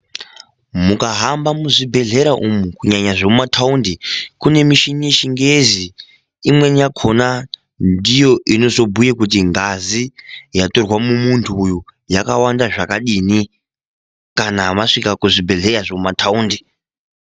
Mukahamba muzvibhedhlera umu, kunyanya zvemumataundi, kune muchini yechingezi, imweni yakona ndiyo inozobhuye kuti ngazi yatorwa mumuntu uyu yakawanda zvakadini kana masvika kuzvibhedhlera zvemumataundi.